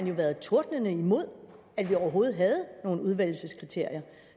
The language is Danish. jo været tordnende imod at vi overhovedet havde nogen udvælgelseskriterier